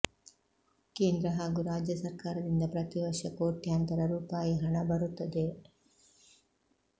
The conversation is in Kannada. ಕೇಂದ್ರ ಹಾಗೂ ರಾಜ್ಯ ಸರ್ಕಾರದಿಂದ ಪ್ರತಿವರ್ಷ ಕೋಟ್ಯಾಂತರ ರೂಪಾಯಿ ಹಣ ಬರುತ್ತದೆ